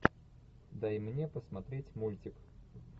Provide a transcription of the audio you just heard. дай мне посмотреть мультик